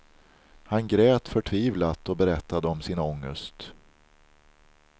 Han grät förtvivlat och berättade om sin ångest.